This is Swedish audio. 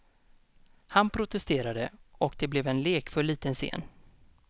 Han protesterade, och det blev en lekfull liten scen.